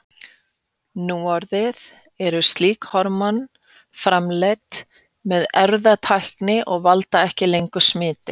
Núorðið eru slík hormón framleidd með erfðatækni og valda ekki lengur smiti.